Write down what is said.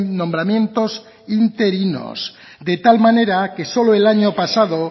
nombramientos interinos de tal manera que solo el año pasado